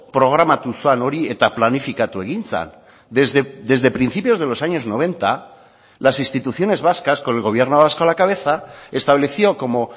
programatu zen hori eta planifikatu egin zen desde principios de los años noventa las instituciones vascas con el gobierno vasco a la cabeza estableció como